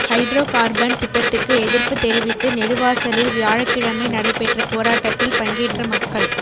hydro carbon திட்டத்துக்கு எதிர்ப்பு தெரிவித்து நெடுவாசலில் வியாழக்கிழமை நடைபெற்ற போராட்டத்தில் பங்கேற்ற மக்கள்